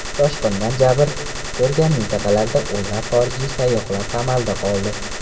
Toshqindan jabr ko‘rgan mintaqalarda o‘nlab xorijiy sayyohlar qamalda qoldi.